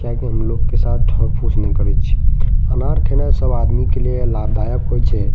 क्या की हमलोग के साथ ठग फूस नाय करे छि अनार खैना सब आदमी के लिए लाभदायक होये छे।